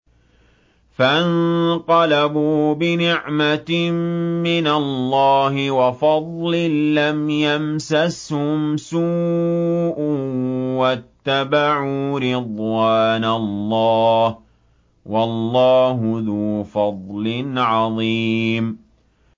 فَانقَلَبُوا بِنِعْمَةٍ مِّنَ اللَّهِ وَفَضْلٍ لَّمْ يَمْسَسْهُمْ سُوءٌ وَاتَّبَعُوا رِضْوَانَ اللَّهِ ۗ وَاللَّهُ ذُو فَضْلٍ عَظِيمٍ